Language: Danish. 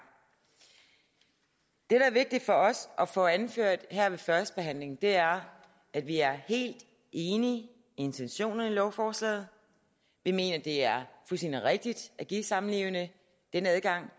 det der er vigtigt for os at få anført her ved førstebehandlingen er at vi er helt enige i intentionerne i lovforslaget vi mener det er fuldstændig rigtigt at give samlevende denne adgang